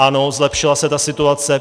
Ano, zlepšila se ta situace.